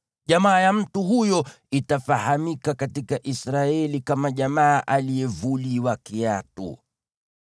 Jamaa ya mtu huyo itafahamika katika Israeli kama Jamaa ya Aliyevuliwa Kiatu.